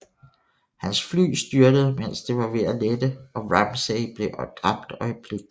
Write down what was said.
Hans fly styrtede mens det var ved at lette og Ramsay blev dræbt øjeblikkeligt